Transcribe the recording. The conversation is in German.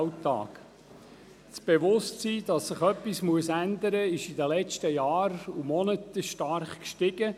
Das Bewusstsein dafür, dass sich etwas ändern muss, ist in den letzten Monaten und Jahren stark angestiegen.